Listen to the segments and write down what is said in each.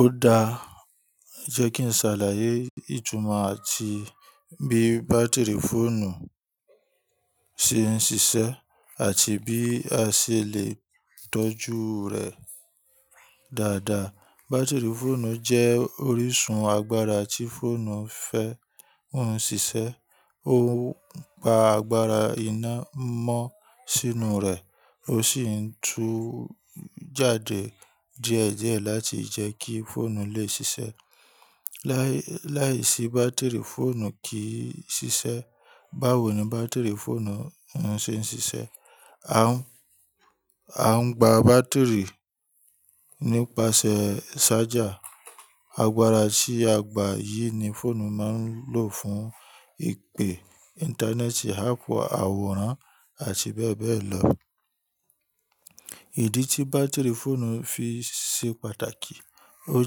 Ó dáa, jẹ́ kí n ṣàlàyé ìtumọ̀ àti bí bátìrì fóònù ṣe ń ṣiṣẹ́ àti bí a ṣe lè tọ́jú rẹ̀ dáadáa. Bátìrì fóònù jẹ́ orísun agbára tí fóònù ń fẹ́ ń ṣiṣẹ́. Ó ń gba agbára iná mọ́ sínú rè, ó sì ń tú jáde díẹ̀ díẹ̀ láti jẹ́ kí fóònù lè ṣiṣẹ́. Láìsí bátìrì, fóònù kì í ṣiṣẹ́. Báwo ni bátìrì fóònù ń ṣe ń ṣiṣẹ́? A ń, a ń gba bátìrì nípasẹ̀ ṣájà. Agbára tí a gbà yìí ni fóònù máa ń lò fún ìpè, Íńtánẹ́ẹ̀tì, áàpù, àwòrán àti bẹ́ẹ̀ bẹ́ẹ̀ lọ. Ìdí tí bátìrì fóònù fi ṣe pàtàkì, ó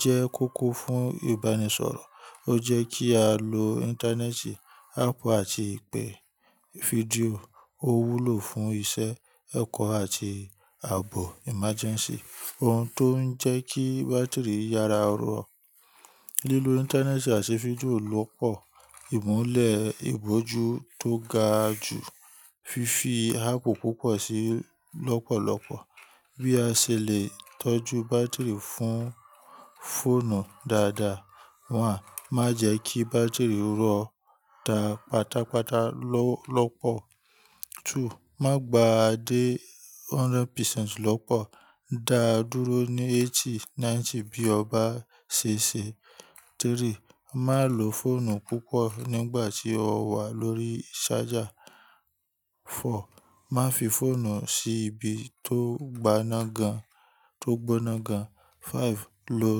jẹ́ kókó fún ìbánisọ̀rọ̀, ó jẹ́ kí á lò Íńtánẹ́ẹ̀tì, áàpù àti ìpè fídíò, ó wúlò fún iṣẹ́ ẹ̀kọ́ àti ààbò ìmajẹ́ǹsí. Ohun tó ń jẹ́ kí bátìrì yára rọ̀, lílo Íńtánẹ́ẹ̀tì àti fídíò lọ́pọ̀, ìmúlẹ̀ ìbòjú tó ga jù, fífi áàpù púpọ̀ sí lọ́pọ̀lọpọ̀. Bí a ṣe lè tọ́jú bátìrì fún fóònù dáadáa, one má jẹ́ kí bátìrì rọ́ tá pátápátá lọ́pọ̀. Two, má gba dé hundred percent lọ́pọ̀, dá a dúró ní eighty, ninety bí o bá ṣe ṣe. Three, má lò fóònù púpọ̀ nígbà tí ó wà lórí ṣájà. Four, má fi fóònù sí ibi tó gbaná gan, tó gbóná gan. Five, lò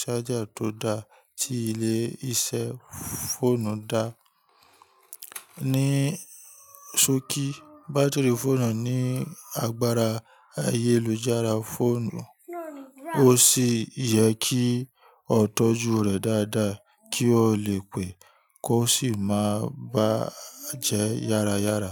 ṣájà tó dá tí ilé-iṣẹ́ fóònù dá. Ni sókí, bátìrì fóònù ní agbára ayélujára fóònù, ó sì yẹ kí ó tọ́jú rè dáadáa kí ó lè pé kó sì má bá a jẹ́ yára yára.